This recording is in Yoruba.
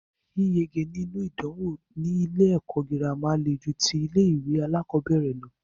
Yíyege nínú ìdánwò ní ilé ẹ̀kọ́ gírámà le ju tí ilé ìwé alákọ̀berẹ̀ lọ.